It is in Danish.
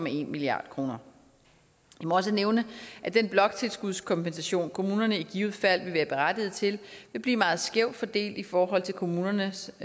en milliard kroner det må også nævnes at den bloktilskudskompensation som kommunerne i givet fald vil være berettiget til vil blive meget skævt fordelt i forhold til kommunernes